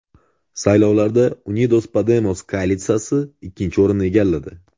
Saylovlarda Unidos Podemos koalitsiyasi ikkinchi o‘rinni egalladi.